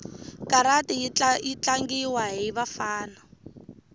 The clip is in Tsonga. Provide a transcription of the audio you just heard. karati yitlangiwa hhivafana